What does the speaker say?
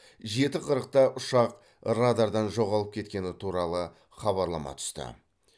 жеті қырықта ұшақ радардан жоғалып кеткені туралы хабарлама түсті